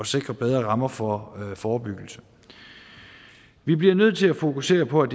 sikre bedre rammer for forebyggelse vi bliver nødt til at fokusere på at